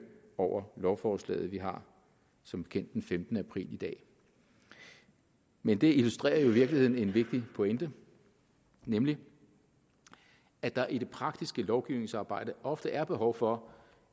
over lovforslaget vi har som bekendt den femtende april i dag men det illustrerer jo i virkeligheden en vigtig pointe nemlig at der i det praktiske lovgivningsarbejde ofte er behov for